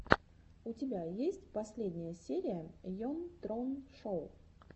у тебя есть последняя серия йон трон шоу